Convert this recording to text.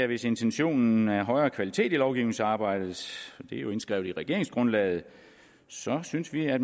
hvis intentionen er højere kvalitet i lovgivningsarbejdet det er jo indskrevet i regeringsgrundlaget så synes vi at